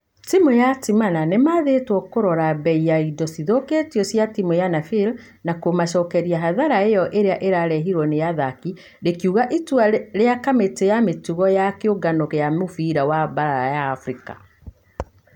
Timũ ya timana nĩmaathetwo korora bei ya indo cithoketio cia timũ ya nafeer na kũma cokeria hathara ĩyo ĩrĩa ĩrarehirwo nĩ athaki," rĩkiuga itua ria kamĩtĩ ya mĩtugo ya kĩũngano gia mũfira wa baara ya africa .